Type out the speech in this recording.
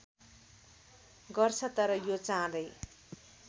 गर्छ तर यो चाँडै